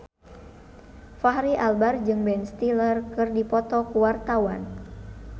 Fachri Albar jeung Ben Stiller keur dipoto ku wartawan